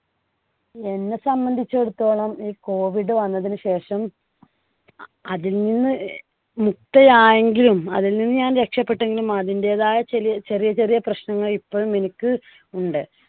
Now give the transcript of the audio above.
എന്നെ സംബന്ധിച്ചിടത്തോളം ഈ COVID വന്നതിനു ശേഷം അതിൽനിന്ന് മുക്ത ആയെങ്കിലും അതിൽ നിന്ന് ഞാൻ രക്ഷപ്പെട്ടെങ്കിലും അതിന്‍ടെതായ ചെറ്യേ ചെറിയ ചെറിയ പ്രശ്നങ്ങൾ ഇപ്പഴും എനിക്ക് ഉണ്ട്.